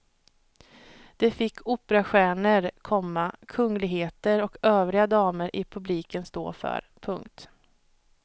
Det fick operastjärnor, komma kungligheter och övriga damer i publiken stå för. punkt